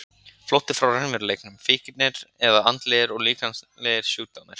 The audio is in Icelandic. Flótti frá raunveruleikanum, fíknir eða andlegir og líkamlegir sjúkdómar.